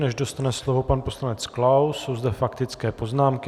Než dostane slovo pan poslanec Klaus, jsou zde faktické poznámky.